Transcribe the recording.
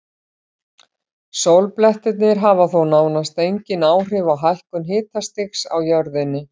Sólblettirnir hafa þó nánast engin áhrif á hækkun hitastigs á jörðunni.